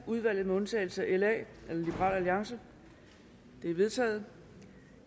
udvalget med undtagelse af liberal alliance de er vedtaget